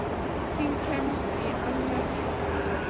Enginn kemst í annars ham.